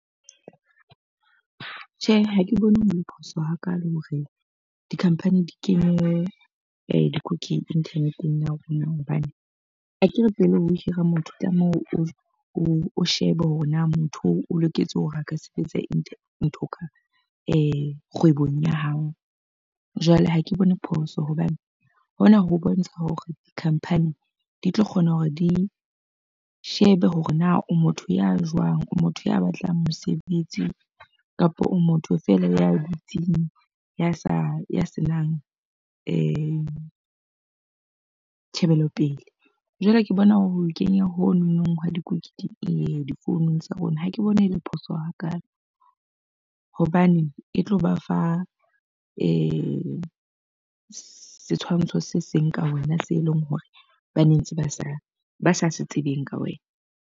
Tjhe, ha ke bone ho le phoso hakalo hore di-company di kenye di internet-eng ya rona. Hobane akere pele o hira motho o tlameha o o shebe hore na motho o loketse hore a ka sebetsa nthong kgwebong ya hao. Jwale ha ke bone phoso hobane hona ho bontsha hore dikhamphani di tlo kgona hore di shebe hore na o motho ya jwang, o motho ya batlang mosebetsi, kapa o motho feela ya dutseng ya sa ya senang tjhebelopele. Jwale ke bona ho kenya ho no nong hwa difounung tsa rona, ha ke bone e le phoso hakalo. Hobane e tlo ba fa setshwantsho se seng ka wena se leng hore ba nentse ba sa ba sa se tsebeng ka wena.